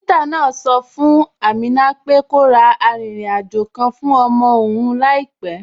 Dókítà náà sọ fún Amina pé kó ra arìnrìn àjò kan fún ọmọ òun láìpẹ